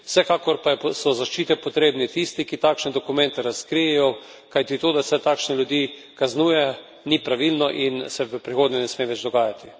Vsekakor pa so zaščite potrebni tisti, ki takšne dokumente razkrijejo, kajti to, da se takšne ljudi kaznuje, ni pravilno in se v prihodnje ne sme več dogajati.